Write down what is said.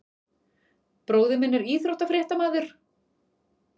Bróðir minn er íþróttafréttamaður.